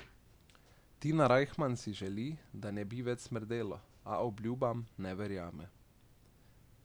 Tina Rajhman si želi, da ne bi več smrdelo, a obljubam ne verjame.